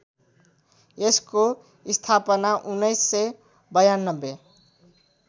यसको स्थापना १९९२